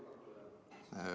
Härra Laneman.